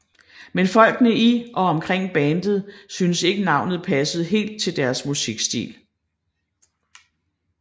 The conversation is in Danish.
Men folkene i og omkring bandet synes ikke navnet passede helt til deres musikstil